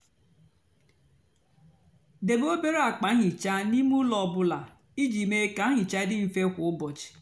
débé obere ákpa áhịhịa n'ímé úló ọ bụlà íjì mée kà nhicha dị mfè kwá úbọchị.